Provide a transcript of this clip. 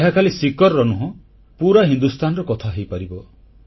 ଏହା ଖାଲି ସିକରର ନୁହଁ ପୁରା ହିନ୍ଦୁସ୍ଥାନର କଥା ହୋଇପାରିବ